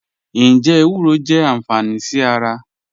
Njẹ ewúrọ jẹ anfání sí ara?